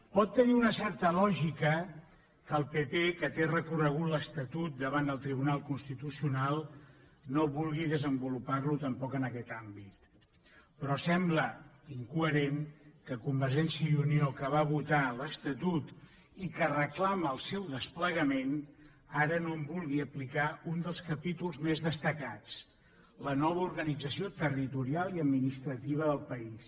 pot tenir una certa lògica que el pp que té recorregut l’estatut davant el tribunal constitucional no vulgui desenvoluparlo tampoc en aquest àmbit però sembla incoherent que convergència i unió que va votar l’estatut i que reclama el seu desplegament ara no en vulgui aplicar un dels capítols més destacats la nova organització territorial i administrativa del país